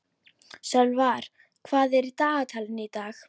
Sölvar, hvað er í dagatalinu í dag?